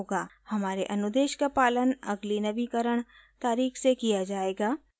हमारे अनुदेश का पालन अगली नवीकरण तारीख़ से किया जायेगा